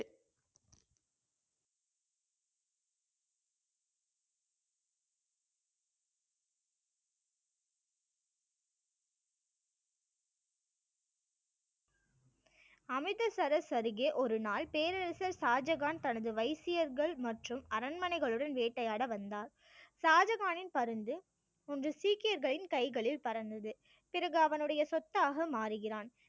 அமிர்தசரஸ் அருகே ஒரு நாள் பேரரசர் ஷாஜகான் தனது வைசியர்கள் மற்றும் அரண்மனைகள் உடன் வேட்டையாட வந்தார் ஷாஜகானின் பருந்து ஒன்று சீக்கியர்களின் கைகளில் பறந்தது பிறகு அவனுடைய சொத்தாக மாறுகிறான்